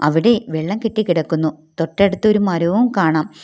അവിടെ വെള്ളം കെട്ടിക്കിടക്കുന്നു തൊട്ടടുത്ത് ഒരു മരവും കാണാം.